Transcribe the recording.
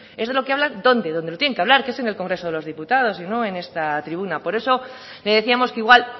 es de lo que hablan dónde donde lo tienen que hablar que es en el congreso de los diputados y no en esta tribuna por eso le decíamos que igual